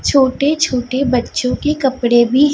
छोटे छोटे बच्चों के कपड़े भी--